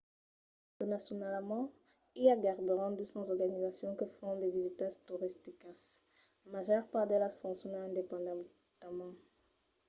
internacionalament i a gaireben 200 organizacions que fan de visitas toristicas. la màger part d’elas foncionan independentament